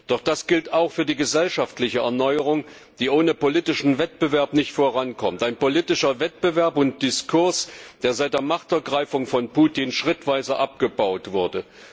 Doch das gilt auch für die gesellschaftliche Erneuerung, die ohne politischen Wettbewerb nicht vorankommt, ein politischer Wettbewerb und ein Diskurs, der seit der Machtergreifung von Putin schrittweise abgebaut wurde.